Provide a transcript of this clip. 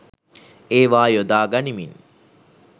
ඒවා යොදා ගනිමින්